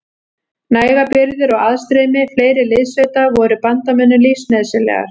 Nægar birgðir og aðstreymi fleiri liðssveita voru bandamönnum lífsnauðsynlegar.